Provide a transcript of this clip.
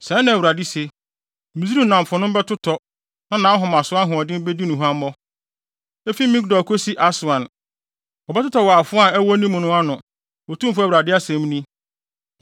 “ ‘Sɛɛ na Awurade se: “ ‘Misraim nnamfonom bɛtotɔ na nʼahomaso ahoɔden bedi no huammɔ. Efi Migdol kosi Aswan wɔbɛtotɔ wɔ afoa a ɛwɔ ne mu no ano, Otumfo Awurade asɛm ni.